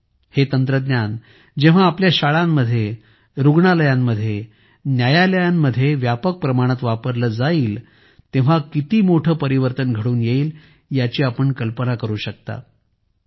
जेव्हा हे तंत्रज्ञान आपल्या शाळांमध्ये रुग्णालयांमध्ये आपल्या न्यायालयांमध्ये व्यापक प्रमाणात वापरले जाईल तेव्हा किती मोठे परिवर्तन घडून येईल याची आपण कल्पना करू शकता